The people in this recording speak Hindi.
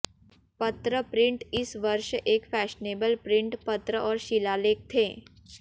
पत्र प्रिंट इस वर्ष एक फैशनेबल प्रिंट पत्र और शिलालेख थे